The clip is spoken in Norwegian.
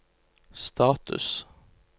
status